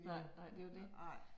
Nej nej det er jo det